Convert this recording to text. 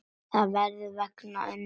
Það var vegna Önnu Dóru.